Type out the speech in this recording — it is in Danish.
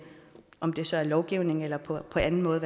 om det så er ved lovgivning eller på anden måde